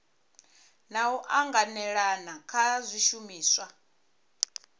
na u anganelana kha zwishumiswa